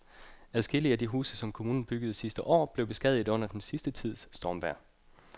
Adskillige af de huse, som kommunen byggede sidste år, er blevet beskadiget under den sidste tids stormvejr.